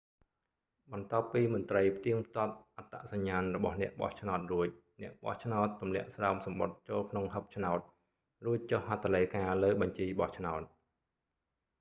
បន្ទាប់ពីមន្ត្រីផ្ទៀងផ្ទាត់អត្តសញ្ញាណរបស់អ្នកបោះឆ្នោតរួច អ្នកបោះឆ្នោតទម្លាក់ស្រោមសំបុត្រចូលក្នុងហិបឆ្នោត រួចចុះហត្ថលេខាលើបញ្ជីបោះឆ្នោត